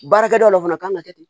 Baarakɛda dɔ de fana kan ka kɛ ten